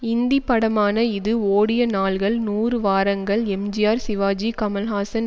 இந்திப்படமான இது ஓடிய நாள்கள் நூறு வாரங்கள் எம்ஜிஆர் சிவாஜி கமல்ஹாசன்